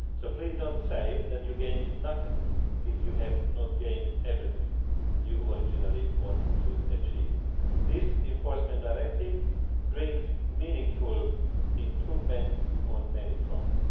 So please do not say that you gained nothing if you have not gained everything you originally wanted to achieve. This Enforcement Directive brings meaningful improvements on many fronts.